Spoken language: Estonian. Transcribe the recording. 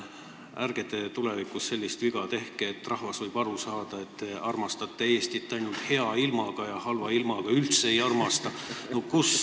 Ärge te tulevikus sellist viga tehke, sest rahvas võib aru saada, et te armastate Eestit ainult hea ilmaga ja halva ilmaga üldse ei armasta.